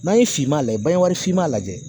N'a ye finma lajɛ finman lajɛ